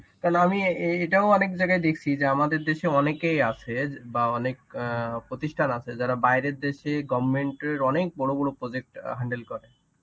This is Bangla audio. কারণ আমি অ্যাঁ এটাও অনেক জায়গায় দেখছি যে আমাদের দেশে অনেকেই আছে বা অনেক অ্যাঁ প্রতিষ্ঠান আছে যারা বাইরের দেশে goverment এর অনেক বড় বড় project handle করে.